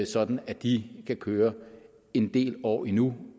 sådan at de kan køre en del år endnu